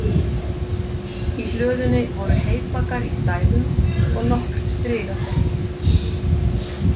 Í hlöðunni voru heybaggar í stæðum og nokkrir strigasekkir.